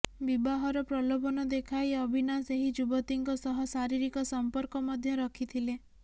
ବିବାହର ପ୍ରଲୋଭନ ଦେଖାଇ ଅଭିନାଶ ଏହି ଯୁବତୀଙ୍କ ସହ ଶାରୀରିକ ସଂପର୍କ ମଧ୍ୟ ରଖିଥିଲେ